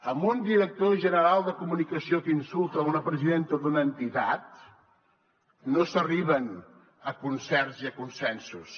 amb un director general de comunicació que insulta una presidenta d’una entitat no s’arriba a concerts ni a consensos